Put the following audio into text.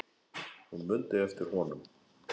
Hún mundi eftir honum.